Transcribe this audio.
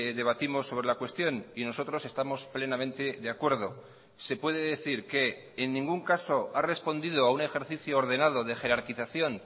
debatimos sobre la cuestión y nosotros estamos plenamente de acuerdo se puede decir que en ningún caso ha respondido a un ejercicio ordenado de jerarquización